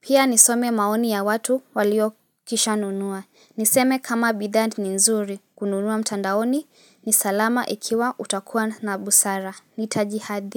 Pia nisome maoni ya watu waliokishanunua Niseme kama bidhaa ni nzuri kununua mtandaoni ni salama ikiwa utakuwa na busara Nitaji hadi.